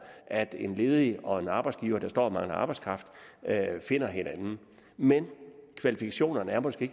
at en ledig og en arbejdsgiver der står og mangler arbejdskraft finder hinanden men kvalifikationerne er måske